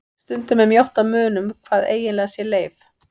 Stundum er mjótt á munum hvað eiginlega sé leif.